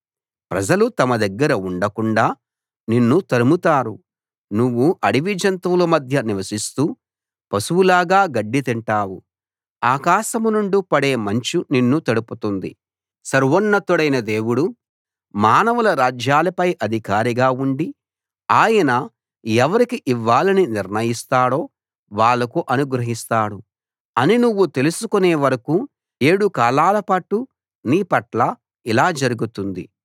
ప్రజలు తమ దగ్గర ఉండకుండా నిన్ను తరుముతారు నువ్వు అడవి జంతువుల మధ్య నివసిస్తూ పశువులాగా గడ్డి తింటావు ఆకాశం నుండి పడే మంచు నిన్ను తడుపుతుంది సర్వోన్నతుడైన దేవుడు మానవుల రాజ్యాలపై అధికారిగా ఉండి ఆయన ఎవరికి ఇవ్వాలని నిర్ణయిస్తాడో వాళ్లకు అనుగ్రహిస్తాడు అని నువ్వు తెలుసుకునే వరకూ ఏడు కాలాలపాటు నీ పట్ల ఇలా జరుగుతుంది